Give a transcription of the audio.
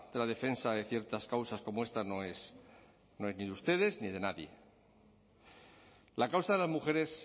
la defensa de ciertas causas como esta no es ni de ustedes ni de nadie la causa de las mujeres